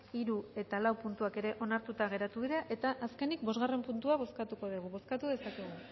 hiru eta lau puntuak ere onartuta geratu dira eta azkenik bosgarren puntua bozkatuko dugu bozkatu dezakegu